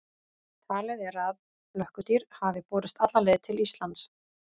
Talið er að flökkudýr hafi borist alla leið til Íslands.